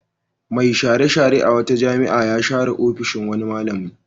Mai share-share a wata jami'a ya share ofishin wani malami.